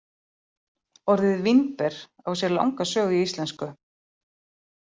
Orðið vínber á sér langa sögu í íslensku.